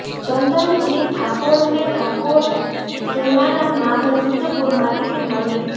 ચંદનજી ઠાકોરને ઠાકોર સેનાના નામે સિધ્ધપુરમાં ટિકિટ મળી હતી